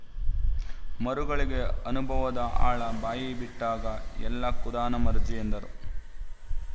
ಮರುಗಳಿಗೆ ಅನುಭವದ ಆಳ ಬಾಯಿಬಿಟ್ಟಾಗ ಎಲ್ಲ ಖುದಾನ ಮರ್ಜಿ ಎಂದರು